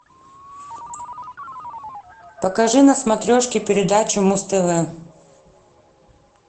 покажи на смотрешке передачу муз тв